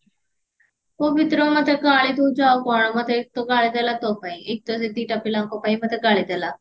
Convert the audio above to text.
ପବିତ୍ର ମତେ ଗାଳି ଦଉଚି ଆଉ କଣ ମତେ ଏକ ତ ଗାଳି ଦେଲା ତୋ ପାଇଁ ଏକ ତ ସେ ଦିଟା ପିଲାଙ୍କ ପାଇଁ ମତେ ଗାଳି ଦେଲା